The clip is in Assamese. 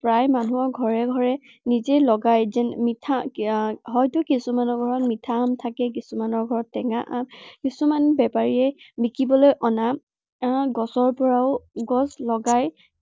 প্ৰায় মানুহৰ ঘৰে ঘৰে নিজে লগা এৰ মিঠা আহ হয়তো কিছুমানৰ ঘৰত মিঠা আম থাকে, কিছুমানৰ ঘৰত টেঙা আম। কিছুমান বেপাৰীয়ে বিকিবলৈ অনা, অনা গছৰ পৰাও, গছ লগাই